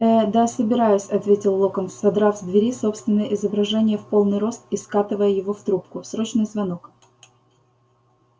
ээ да собираюсь ответил локонс содрав с двери собственное изображение в полный рост и скатывая его в трубку срочный звонок